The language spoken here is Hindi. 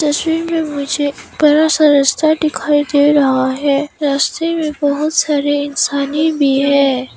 तस्वीर में मुझे एक बड़ा सा रास्ता दिखाई दे रहा है रास्ते में बहुत सारे इंसाने भी हैं।